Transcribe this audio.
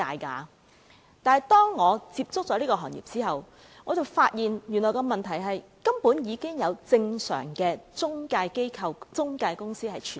不過，當我接觸這個行業後，我便發現原來已有正常的中介機構、中介公司存在。